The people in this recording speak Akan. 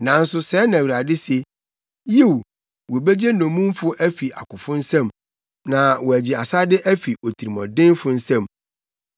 Nanso, sɛɛ na Awurade se: “Yiw, wobegye nnommumfo afi akofo nsam na wɔagye asade afi otirimɔdenfo nsam; me ne wɔn a wɔne wo nya no benya na megye wo mma nkwa.